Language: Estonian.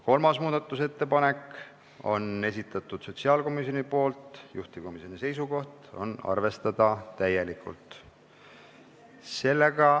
Kolmas muudatusettepanek on sotsiaalkomisjonilt, juhtivkomisjoni seisukoht on arvestada täielikult.